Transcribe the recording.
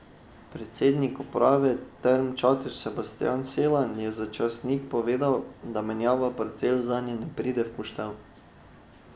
Predsednik uprave Term Čatež Sebastjan Selan je za časnik povedal, da menjava parcel zanje ne pride v poštev.